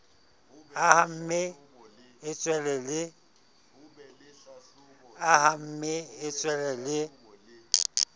a hamme e tswele le